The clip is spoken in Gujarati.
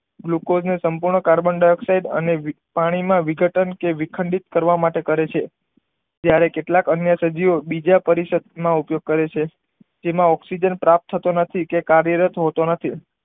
લોકો ને સંપુણઁ કાર્બનડાયોગસાઇડ અને પાણી માં વિઘટન કે વીખડીત કરવા માટે કરે છે ત્યારે કેટલાક અન્ય સભ્યો બીજા પરિષદ માં ઉપયોગ કરે છે જેમાં ઓકઝીજન પ્રાપ્ત થતો નથી કે કાર્ય રત હોતો નથી